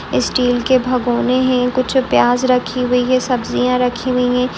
Steel के भगोने हैं कुछ प्याज़ रखी हुई है सब्जियाँ रखी हुई हैं।